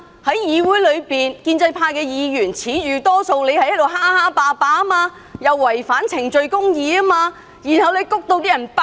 在議會中，建制派議員自恃手握多數票而橫行霸道，違反程序公義，以致民怨爆發。